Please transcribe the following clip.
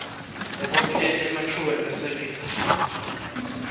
ekwakheni ematfuba emisebenti